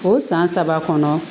O san saba kɔnɔ